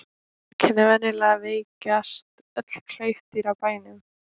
Einkenni Venjulega veikjast öll klaufdýr á bænum.